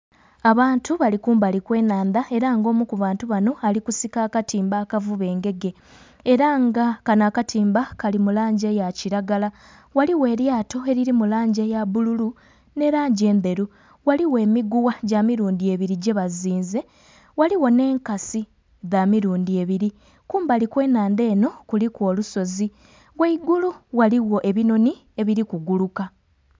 Abantu bali kumbali okw'enhandha era nga omu kubantu bano ali kusika katimba akavuba engege era nga kano akatimba kali mulangi eya kiragala ghaligho elyato eriri mulangi eya bbululu ne langi endheru ghaligho emiguwa gyamirundi ebiri jebazinze ghaligho n'enkasi dhamirundi ebiri kumbali okw'enhandha eno kuliku olusozi ghaigulu ghaligho ebinhonhi ebiri kuguluka.